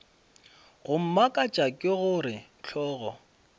go mmakatša ke gore hlogo